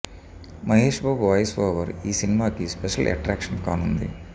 Mahesh Babu voice over ఈ సినిమాకి special attraction కానుంది